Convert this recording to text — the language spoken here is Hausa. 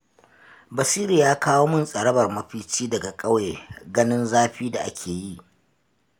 Basiru ya kawo min tsarabar mafici daga ƙauye, ganin zafin da ake yi.